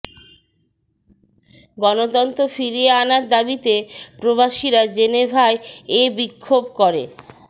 গণতন্ত্র ফিরিয়ে আনার দাবিতে প্রবাসীরা জেনেভায় এ বিক্ষোভ করে